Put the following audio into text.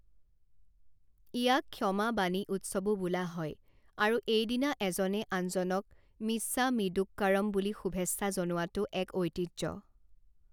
ইয়াক ক্ষমা বাণী উৎসৱো বোলা হয় আৰু এই দিনা এজনে আনজনক মিচ্ছামিদুক্কড়ম বুলি শুভেচ্ছা জনাৱাটো এক ঐতিহ্য।